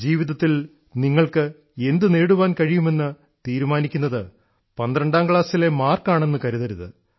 ജീവിതത്തിൽ നിങ്ങൾക്കു എന്തു നേടുവാൻ കഴിയുമെന്ന് തീരുമാനിയ്ക്കുന്നത് 12ാം ക്ലാസ്സിലെ മാർക്കുകൾ ആണെന്നു കരുതരുത്